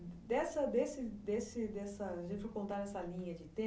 Dessa desse desse dessa linha de tempo.